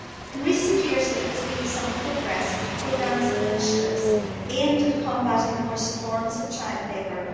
In recent years there has been some progress through programmes and initiatives aimed at combating the worst forms of child labour.